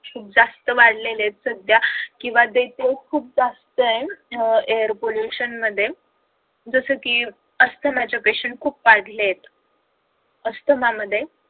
जास्त वाढलेले आहेत सध्या किंवा death rate खूप जास्त आहे अह air pollution मध्ये जसं कि अस्थमाचे patient खूप वाढलेले आहेत. अस्थमामध्ये